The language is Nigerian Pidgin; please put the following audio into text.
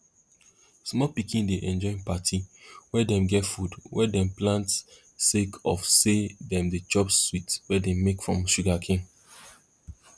small pikin dey enjoy parti wey dem get food wey dem plant sake of say dem dey chop sweet wey dem make from sugarcane